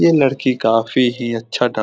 ये लड़की काफी ही अच्छा डांस --